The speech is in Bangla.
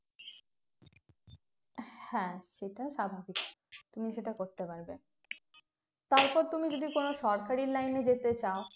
হ্যাঁ সেটা স্বাভাবিক তুমি সেটা করতে পারবে তারপর তুমি যদি কোনো সরকারি line এ যেতে চাও